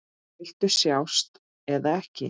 Viltu sjást eða ekki?